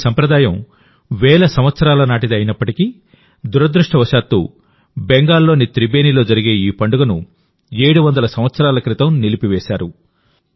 ఈ సంప్రదాయం వేల సంవత్సరాల నాటిది అయినప్పటికీ దురదృష్టవశాత్తు బెంగాల్లోని త్రిబేనిలో జరిగే ఈ పండుగను700 సంవత్సరాల క్రితం నిలిపివేశారు